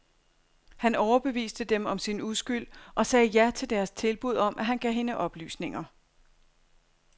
Han overbeviste dem om sin uskyld og sagde ja til deres tilbud om, at han gav hende oplysninger.